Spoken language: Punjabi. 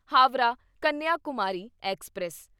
ਹਾਵਰਾ ਕੰਨਿਆਕੁਮਾਰੀ ਐਕਸਪ੍ਰੈਸ